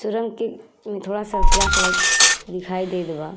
सुरंग के में थोड़ा सा फ्लैशलाइट दिखाई देत बा।